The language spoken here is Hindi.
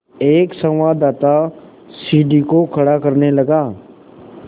एक संवाददाता सीढ़ी को खड़ा करने लगा